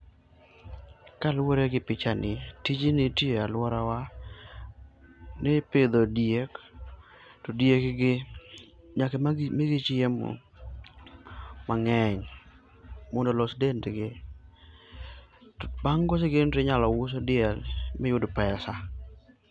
Kaluor egi pichani, tijni itiyoo e aluorawa ni ipidho diek to diek gi nyaka migi chiemo mangeny mondo olos dendgi. Bang koseger del tinyalo us diel miyud pesa